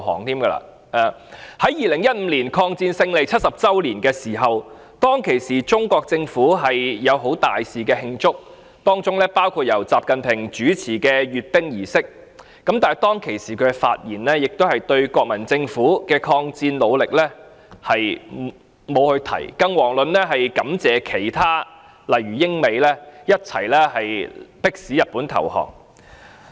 在2015年的抗戰勝利70周年時，中國政府大肆慶祝，包括由習近平主持的閱兵儀式，但他當時的發言並沒有提及國民政府的抗戰努力，更遑論感謝一起迫使日本投降的英美等國。